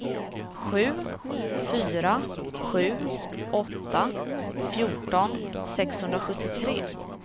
sju fyra sju åtta fjorton sexhundrasjuttiotre